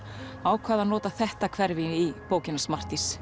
ákvað að nota þetta hverfi í bókina